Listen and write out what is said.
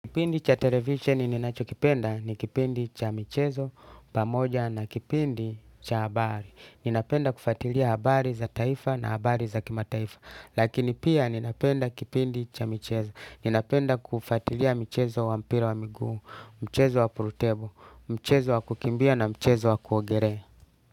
Kipindi cha televisheni ninachokipenda ni kipindi cha michezo pamoja na kipindi cha habari. Ninapenda kufatilia habari za taifa na habari za kimataifa. Lakini pia ninapenda kipindi cha michezo. Ninapenda kufatilia mchezo wa mpira wa miguu. Mchezo wa pool table, mchezo wa kukimbia na mchezo wa kuogelea.